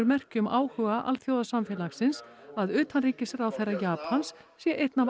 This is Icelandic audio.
merki um áhuga alþjóðasamfélagsins að utanríkisráðherra Japans sé einn af